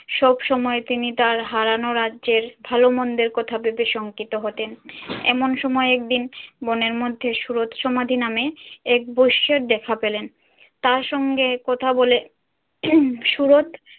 সব সময় তিনি তার হারানো রাজ্যের ভালো-মন্দের কথা ভেবে শংকিত হতেন। এমন সময় একদিন বনের মধ্যে সুরত সমাধি নামে এক বৈশ্যের দেখা পেলেন। তার সঙ্গে কথা বলে সুরত